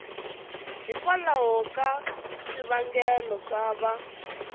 hikwalaho ka swivangelo swo va